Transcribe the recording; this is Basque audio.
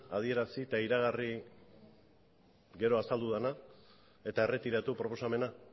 adierazi eta iragarri gero azaldu dena eta erretiratu proposamena